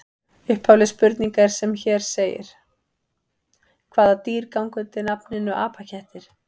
Upphafleg spurning er sem hér segir: Hvaða dýr ganga undir nafninu apakettir?